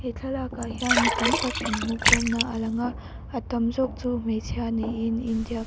he thlalakah hian mi tam tak inhmuhkhawmna a lang a a tam zawk chu hmeichhia niin india --